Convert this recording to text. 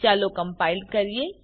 ચાલો કમ્પાઈલ કરીએ